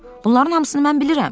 Bunların hamısını mən bilirəm.